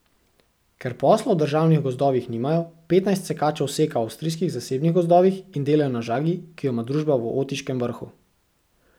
Ker posla v državnih gozdovih nimajo, petnajst sekačev seka v avstrijskih zasebnih gozdovih in delajo na žagi, ki jo ima družba v Otiškem Vrhu.